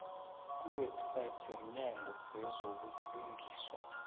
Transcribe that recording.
kuwebsite yomnyango wezobulungiswa